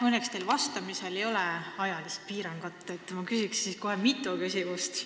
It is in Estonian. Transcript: Õnneks teil vastamisel ei ole ajalist piirangut, nii et küsin kohe mitu küsimust.